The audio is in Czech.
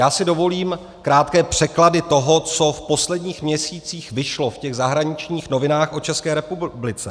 Já si dovolím krátké překlady toho, co v posledních měsících vyšlo v těch zahraničních novinách o České republice.